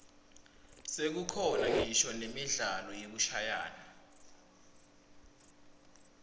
sekukhona ngisho nemidlalo yekushayana